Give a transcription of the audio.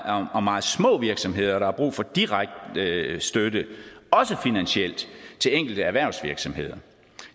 om om meget små virksomheder der har brug for direkte støtte også finansielt til enkelte erhvervsvirksomheder